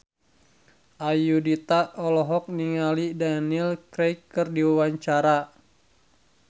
Ayudhita olohok ningali Daniel Craig keur diwawancara